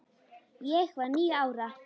Ég var níu ára.